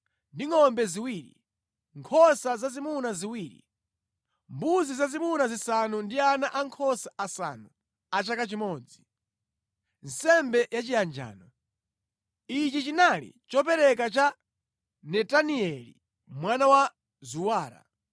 ndi ngʼombe ziwiri, nkhosa zazimuna ziwiri, mbuzi zazimuna zisanu ndi ana ankhosa asanu a chaka chimodzi, nsembe ya chiyanjano. Ichi chinali chopereka cha Netanieli mwana wa Zuwara.